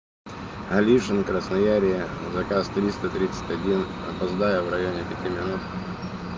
алишин красноярье заказ триста тридцать один опоздаю в районе пяти минут